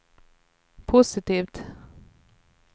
positivt